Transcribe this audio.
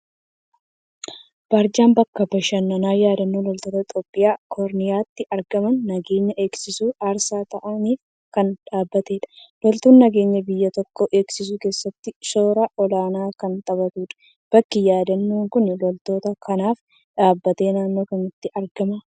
Barjaa bakka bashannanaa yaadannoo loltoota Itoophiyaa Kooriyaatti ergama nageenya eegsisuuf aarsaa ta'aniif kan dhaabbatedha. Loltuun nageenya biyya tokkoo eegsisuu keessatti shoora olaanaa kan taphatudha. Bakki yaadannoon kun loltoota kanaaf dhaabbate naannoo kamitti argama.